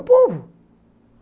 O povo.